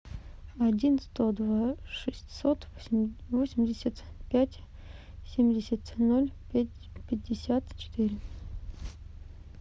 один сто два шестьсот восемьдесят пять семьдесят ноль пять пятьдесят четыре